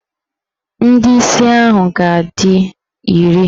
Ndị isi ahụ ga-adị iri.